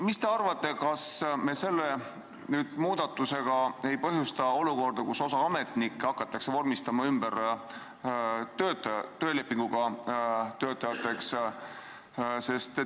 Mis te arvate, kas me selle muudatusega ei põhjusta olukorda, kus osa ametnikke hakatakse vormistama ümber töölepinguga töötajateks?